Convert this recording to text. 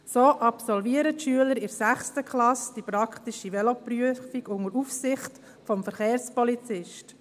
So absolvieren die Schüler in der 6. Klasse die praktische Veloprüfung unter Aufsicht des Verkehrspolizisten.